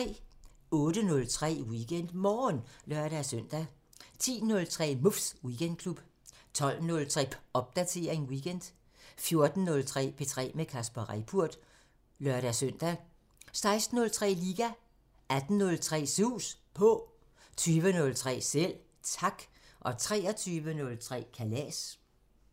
08:03: WeekendMorgen (lør-søn) 10:03: Muffs Weekendklub 12:03: Popdatering weekend 14:03: P3 med Kasper Reippurt (lør-søn) 16:03: Liga 18:03: Sus På 20:03: Selv Tak 23:03: Kalas